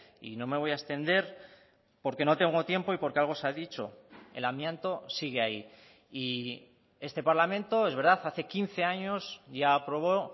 y no me voy a extender porque no tengo tiempo y porque algo se ha dicho el amianto sigue ahí y este parlamento es verdad hace quince años ya aprobó